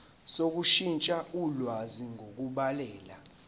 sokushintsha ulwazi ngokubhalela